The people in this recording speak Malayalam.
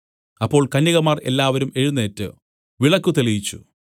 അപ്പോൾ കന്യകമാർ എല്ലാവരും എഴുന്നേറ്റ് വിളക്കു തെളിയിച്ചു